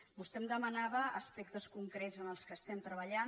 vostè em demanava aspectes concrets en què estem treballant